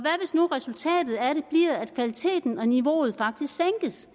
nu resultatet af det bliver at kvaliteten og niveauet faktisk sænkes